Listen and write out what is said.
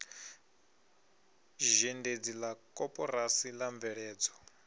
zhendedzi la koporasi la mveledzo